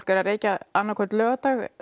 er að reykja annan hvern laugardag